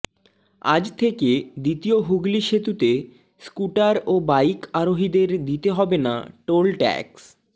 আজ থেকে দ্বিতীয় হুগলি সেতুতে স্কুটার ও বাইক আরোহীদের দিতে হবে না টোল ট্যাক্স